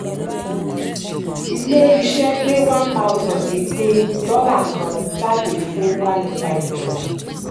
ilé-iṣẹ́ gbé one thousand ìpín dollar kan jáde fún one o five dollar